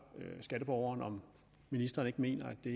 skatteborgeren om ministeren ikke mener at det